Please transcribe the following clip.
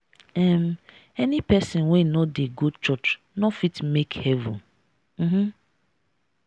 um any pesin wey no dey go church no fit make heaven. um